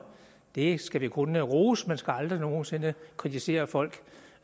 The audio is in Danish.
det skal vi kun rose man skal aldrig nogen sinde kritisere folk